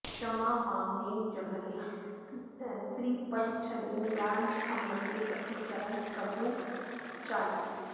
क्ष्मां वामनेन जगृहे त्रिपदच्छलेन याच्ञामृते पथि चरन् प्रभुभिर्न चाल्यः